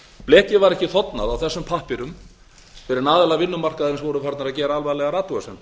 blekið var ekki þornað á þessum pappírum fyrr en aðilar vinnumarkaðarins voru farnir að gera alvarlegar athugasemdir